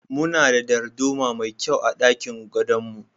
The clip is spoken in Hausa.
Muna da darduma mai kyau a ɗakin gadon mu.